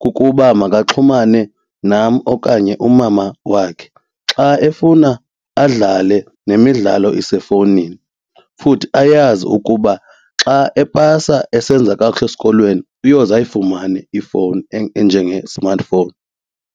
kukuba makaxhumane nam okanye umama wakhe. Xa efuna adlale nemidlalo isefowunini futhi ayazi ukuba xa epasa esenza kakuhle esikolweni uyoze ayifumane ifowuni enjenge-smartphone.